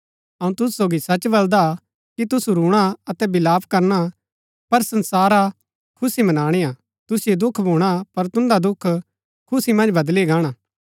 अऊँ तुसु सोगी सच बलदा कि तुसु रूणा अतै विलाप करना पर संसारा खुशी मनाणी हा तुसिओ दुख भूणा पर तुन्दा दुख खुशी मन्ज बदली गाणा